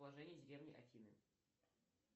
положение деревни афины